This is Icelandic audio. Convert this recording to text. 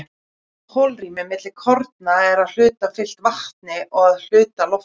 holrými milli korna er að hluta fyllt vatni og að hluta lofti